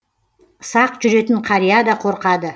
сақ жүретін қария да қорқады